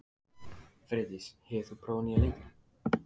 Freydís, hefur þú prófað nýja leikinn?